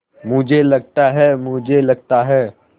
मुझे लगता है मुझे लगता है